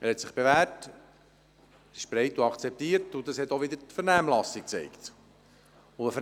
Er hat sich bewährt und ist breit akzeptiert, was auch die Vernehmlassung gezeigt hat.